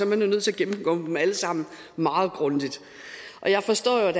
man nødt til at gennemgå dem alle sammen meget grundigt jeg forstår jo